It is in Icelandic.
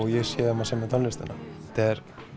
ég sé um að semja tónlistina þetta er